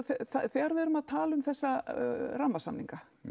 þegar við erum að tala um þessa rammasamninga